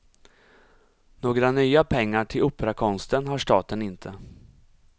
Några nya pengar till operakonsten har staten inte.